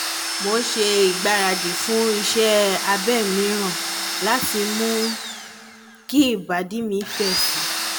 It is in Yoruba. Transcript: mo ń ṣe ìgbáradì fún iṣẹ́ abẹ mìíràn láti mú kí ìbàdí mi fẹ́ síi